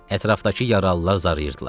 Ətrafdakı yaralılar zarayırdılar.